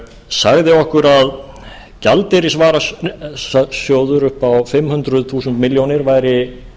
sagði okkur að gjaldeyrisvarasjóður upp á fimm hundruð þúsund milljónir væri